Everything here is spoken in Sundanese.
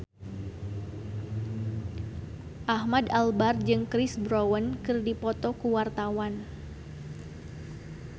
Ahmad Albar jeung Chris Brown keur dipoto ku wartawan